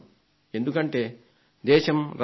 ఎందుకంటే దేశం రత్నగర్భ